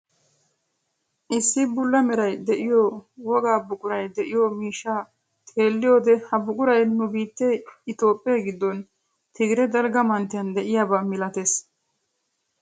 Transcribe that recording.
Issi bulla meray de'iyoo wogaa buquray de'iyoo miishshaa xeelliyoode ha buquray nu biittee itoophphee giddon tigire dalgga manttiyaan de'iyaaba milatees.